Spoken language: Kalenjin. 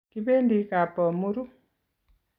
Kibendi kapbomuru